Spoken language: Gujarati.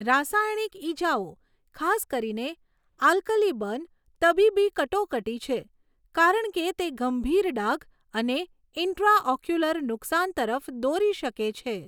રાસાયણિક ઇજાઓ, ખાસ કરીને આલ્કલી બર્ન, તબીબી કટોકટી છે, કારણ કે તે ગંભીર ડાઘ અને ઇન્ટ્રાઓક્યુલર નુકસાન તરફ દોરી શકે છે.